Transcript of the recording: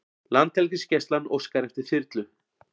Landhelgisgæslan óskar eftir þyrlu